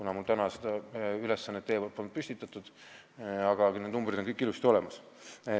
Te mulle seda ülesannet enne ei andnud, aga need numbrid on kõik ilusasti olemas.